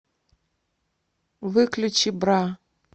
выключи бра